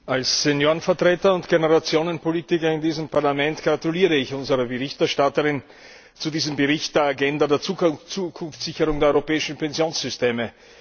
Als Seniorenvertreter und Generationenpolitiker in diesem Parlament gratuliere ich unserer Berichterstatterin zu diesem Bericht, der Agenda der Zukunftssicherung der europäischen Pensionssysteme.